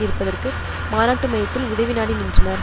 இருப்பதற்கு மாநாட்டு மையத்தில் உதவி நாடி நின்றனர்